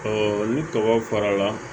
ni tɔgɔ farala